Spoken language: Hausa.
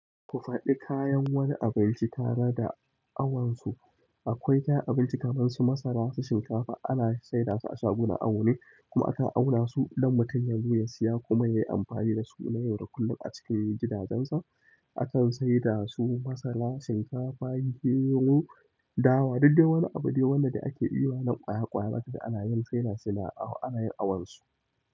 Ku faɗi kayan wani abinci tare da awansu. Akwai kayan abinci kamar su masara, su shinkafa ana saida su a shagunan awu ne kuma aka auna su don mutum yabu ya siya kuma yayi amfani da su na yau da kullum a cikin gidajensa. Akan saida su masara, shinkafa, gero, dawa duk da wani abu ne wanda ake yi wa nan kwaya kwaya maka ana yin saida su na awu ana yin awansu.